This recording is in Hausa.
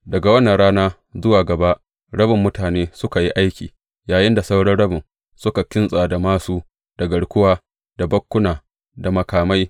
Daga wannan rana zuwa gaba, rabin mutane suka yi aiki, yayinda sauran rabin suka kintsa da māsu, da garkuwa, da bakkuna da makamai.